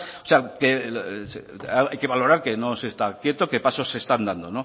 hay que valorar que no se está quieto que pasos se están dando